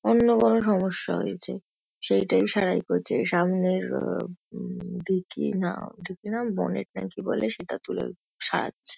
অন্য কোনো সমস্যা হয়েছে সেইটাই সারাই করছে। সামনের আ উম ডিকি না ডিকি না বোনেট না কি বলে সেটা তুলে সারাচ্ছে।